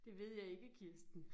Det ved jeg ikke Kirsten